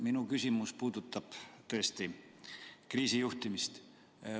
Minu küsimus puudutab tõesti kriisi juhtimist.